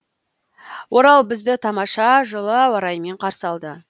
орал бізді тамаша жылы ауа райымен қарсы алды